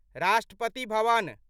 Rashtrapati Bhavan